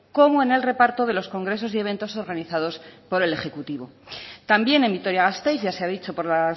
como en el reparto de los congresos y eventos organizados por el ejecutivo también en vitoria gasteiz ya se ha dicho por la